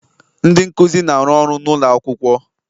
Ndị nkuzi na-arụ ọrụ n'ụlọ akwụkwọ